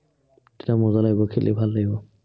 তেতিয়া মজা লাগিব খেলি, ভাল লাগিব।